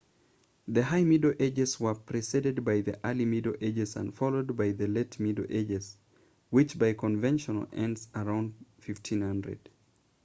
the high middle ages were preceded by the early middle ages and followed by the late middle ages which by convention ends around 1500